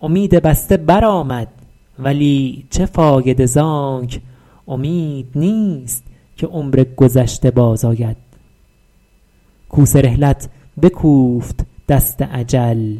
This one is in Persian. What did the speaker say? امید بسته بر آمد ولی چه فایده زانک امید نیست که عمر گذشته باز آید کوس رحلت بکوفت دست اجل